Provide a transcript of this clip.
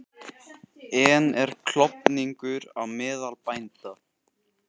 En er klofningur á meðal bænda?